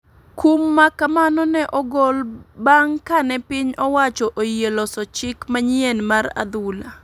Kum makamano ne ogol banf kane piny owacho oyie loso chik manyien mar adhula.